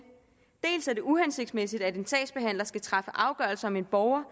dels er det uhensigtsmæssigt at en sagsbehandler skal træffe afgørelser om en borger